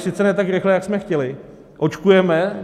Sice ne tak rychle, jak jsme chtěli, očkujeme.